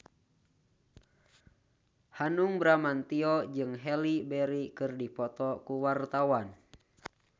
Hanung Bramantyo jeung Halle Berry keur dipoto ku wartawan